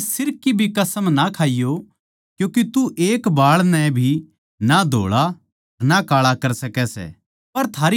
अपणे सिर की भी कसम ना खाइये क्यूँके तू एक बाळ नै भी ना धोळा ना काळा कर सकै सै